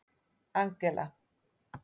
Angela